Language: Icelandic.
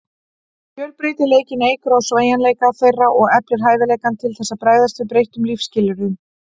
Fjölbreytileikinn eykur á sveigjanleika þeirra og eflir hæfileikann til þess að bregðast við breyttum lífsskilyrðum.